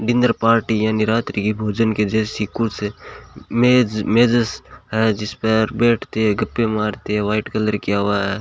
Dinner party यानि रात्रि के भोजन के जैसी कुछ मेज मेजस है जिस पर बैठते गप्पें मारते व्हाइट कलर किया हुआ है।